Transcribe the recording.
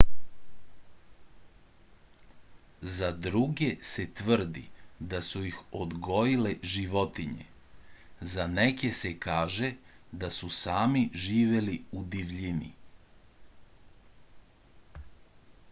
za druge se tvrdi da su ih odgojile životinje za neke se kaže da su sami živeli u divljini